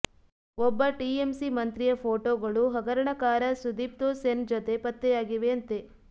ಒಬ್ಬ ಟಿಎಂಸಿ ಮಂತ್ರಿಯ ಫೋಟೋಗಳು ಹಗರಣಕಾರ ಸುದಿಪ್ತೊ ಸೆನ್ ಜತೆ ಪತ್ತೆಯಾಗಿವೆಯಂತೆ